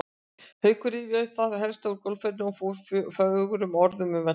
Haukur rifjaði upp það helsta úr golfferðinni og fór fögrum orðum um völlinn.